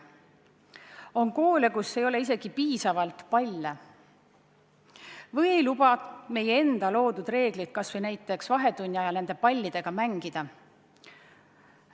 On koole, kus ei ole isegi piisavalt palle või ei luba meie enda loodud reeglid kas või vahetunni ajal pallidega mängida.